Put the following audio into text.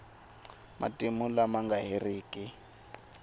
matimu lama nga heriki